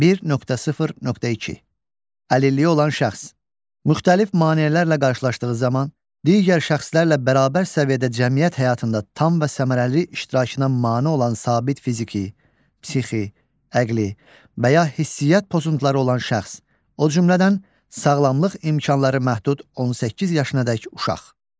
1.0.2. Əlilliyi olan şəxs müxtəlif maneələrlə qarşılaşdığı zaman digər şəxslərlə bərabər səviyyədə cəmiyyət həyatında tam və səmərəli iştirakına mane olan sabit fiziki, psixi, əqli və ya hisiyyat pozuntuları olan şəxs, o cümlədən sağlamlıq imkanları məhdud 18 yaşına qədər uşaq.